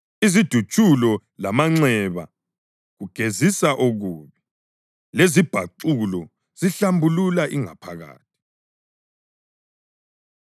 Izidutshulo lamanxeba kugezisa okubi, lezibhaxulo zihlambulula ingaphakathi.